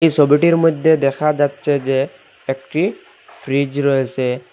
ছবিটির মধ্যে দেখা যাচ্ছে যে একটি ফ্রিজ রয়েছে।